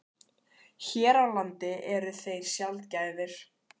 Hér á landi eru þeir sjaldgæfir.